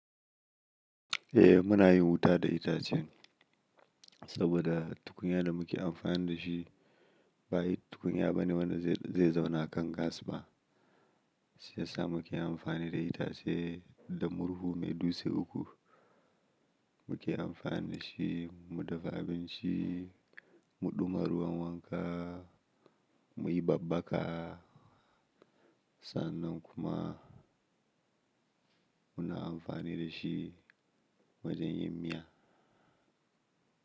Eh muna yin wuta da itacen saboda tukunya da muke amfani da shi ba tukunya bane wanda zai zauna kan gas ba. Shi yasa muke amfani da itace da murhu mai dutse uku muke amfani da shi. Mu dafa abinci, mu ɗuma ruwan wanka, mu yi babbaka. Sannan kuma muna amfani da shi wajen yin miya.